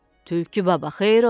Tülkü baba xeyir ola?